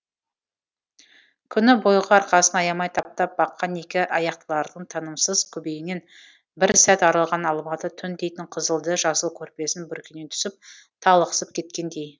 күні бойғы арқасын аямай таптап баққан екі аяқтылардың тынымсыз күйбеңінен бір сәт арылған алматы түн дейтін қызылды жасыл көрпесін бүркене түсіп талықсып кеткендей